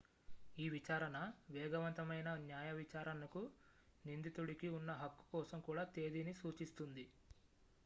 ఈ విచారణ వేగవంతమైన న్యాయవిచారణకు నిందితుడికి ఉన్న హక్కు కోసం కూడా తేదీని సూచిస్తుంది